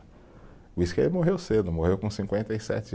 Por isso que ele morreu cedo, morreu com cinquenta e sete